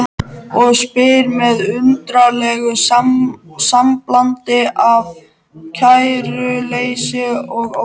Og spyr með undarlegu samblandi af kæruleysi og ótta